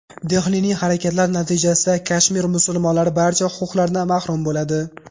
Dehlining harakatlari natijasida Kashmir musulmonlari barcha huquqlaridan mahrum bo‘ladi.